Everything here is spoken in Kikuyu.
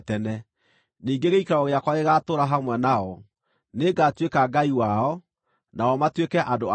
Ningĩ gĩikaro gĩakwa gĩgaatũũra hamwe nao; nĩngatuĩka Ngai wao, nao matuĩke andũ akwa.